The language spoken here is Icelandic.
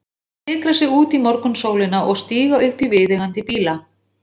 Menn fikra sig út í morgunsólina og stíga upp í viðeigandi bíla.